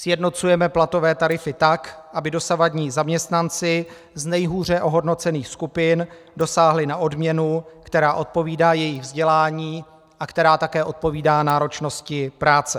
Sjednocujeme platové tarify tak, aby dosavadní zaměstnanci z nejhůře ohodnocených skupin dosáhli na odměnu, která odpovídá jejich vzdělání a která také odpovídá náročnosti práce.